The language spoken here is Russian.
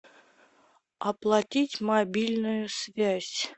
оплатить мобильную связь